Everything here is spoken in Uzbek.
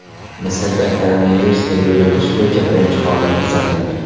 Misrda koronavirusga yo‘liqish bo‘yicha birinchi holat kuzatildi.